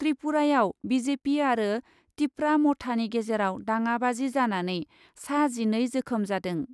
त्रिपुरायाव BJP आरो तिपरा मथानि गेजेराव दाङाबाजि जानानै सा जिनै जोखोम जादों।